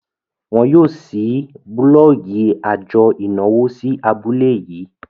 wón yóò ṣii bulọọgi ajo ìnáwó sí abule yii